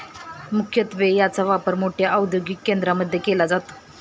मुख्यत्वे याचा वापर मोठ्या औदयोगिक केंद्रामध्ये केला जातो.